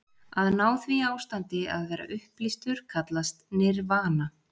Að ná því ástandi, að vera upplýstur, kallast nirvana.